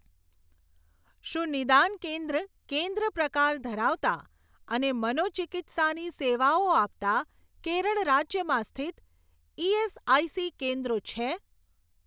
શું નિદાન કેન્દ્ર કેન્દ્ર પ્રકાર ધરાવતાં અને મનોચિકિત્સા ની સેવાઓ આપતાં કેરળ રાજ્યમાં સ્થિત ઈએસઆઈસી કેન્દ્રો છે?